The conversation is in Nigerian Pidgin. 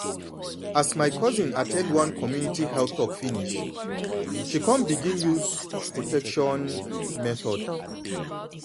as my cousin at ten d one community health talk finish she come begin use protection method